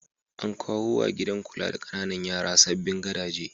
An kawo wa gidan kula da ƙananan yara sabbin gadaje.